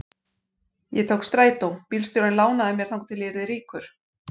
Ég tók strætó, bílstjórinn lánaði mér þangað til ég yrði ríkur.